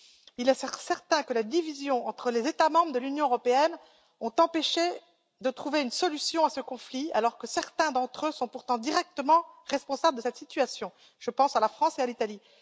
Il est certain que la division entre les États membres de l'Union européenne a empêché de trouver une solution à ce conflit, alors que certains d'entre eux sont pourtant directement responsables de cette situation je pense à la France et à l'Italie.